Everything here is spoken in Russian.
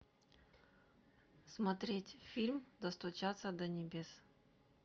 смотреть фильм достучаться до небес